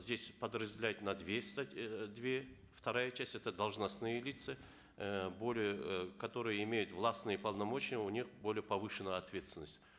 здесь подразделяют на две э две вторая часть это должностные лица э более э которые имеют властные полномочия у них более повышена ответственность